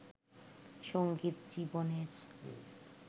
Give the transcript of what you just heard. সংগীত জীবনের